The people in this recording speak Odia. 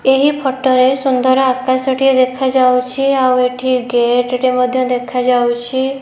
ଏହି ଫୋଟୋ ରେ ସୁନ୍ଦର ଆକାଶ ଟିଏ ଦେଖାଯାଉଚି ଆଉ ଏଠି ଗେଟ୍ ଟେ ମଧ୍ୟ ଦେଖାଯାଉଚି।